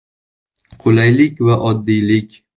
Qulaylik va oddiylik.